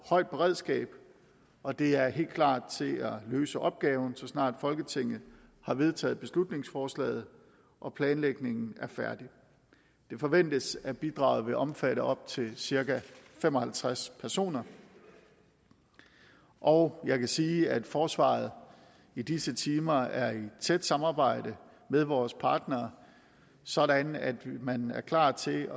højt beredskab og de er helt klar til at løse opgaven så snart folketinget har vedtaget beslutningsforslaget og planlægningen er færdig det forventes at bidraget vil omfatte op til cirka fem og halvtreds personer og jeg kan sige at forsvaret i disse timer er i tæt samarbejde med vores partnere sådan at man er klar til